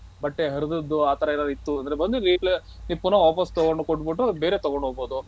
ಬಟ್ಟೆ ಹರಿದಿದ್ದು ಆತರ ಏನಾದ್ರು ಇತ್ತು ಅಂದ್ರೆ ಬನ್ನಿ ನೀವು ಪುನಃ ವಾಪಸ್ ತಗೊಂಡ್ಕೊ ಕೋಟಿಬಿಟ್ಟು ಬೇರೆ ತಗೊಂಡ್ ಹೋಗ್ಬೋದು .